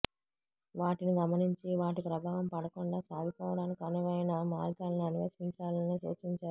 వాటిని గమనించి వాటి ప్రభావం పడకుండా సాగిపోవడానికి అనువైన మార్గాలను అన్వేషించాలని సూచించారు